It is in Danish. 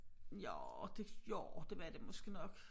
Jo det jo det var det måske nok